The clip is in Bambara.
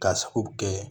Ka sabu kɛ